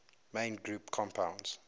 main group compounds